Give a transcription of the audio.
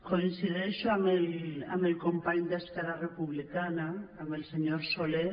coincideixo amb el company d’esquerra republicana amb el senyor solé